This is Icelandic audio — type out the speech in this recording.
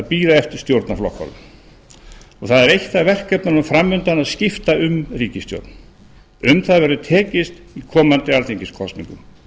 bíða eftir stjórnarflokkunum það er eitt af verkefnunum fram undan að skipta um ríkisstjórn á um það verður tekist í komandi alþingiskosningum